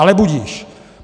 Ale budiž.